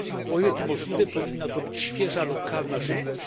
O ile to możliwe powinna to być świeża lokalna żywność.